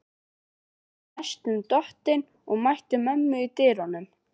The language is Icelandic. Var næstum dottinn og mætti mömmu í dyrunum.